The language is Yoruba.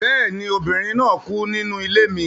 Bẹ́ẹ̀ ni, obìnrin náà kú nínú ilé mi